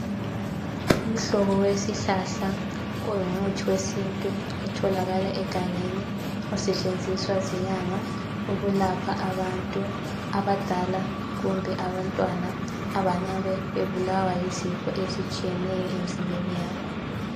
Umhlobo wesihlahla ongumuthi wesintu otholakala egangeni osetshenziswa zinyanga ukulapha abantu abadala kumbe abantwana abangabe bebulawa yizifo ezitshiyeneyo emzimbeni yabo.